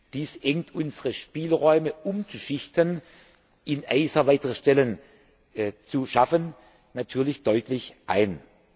Dies engt unsere Spielräume, umzuschichten und in ACER weitere Stellen zu schaffen, natürlich deutlich ein.